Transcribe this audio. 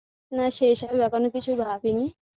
না সেসব এখনো কিছু ভাবিনি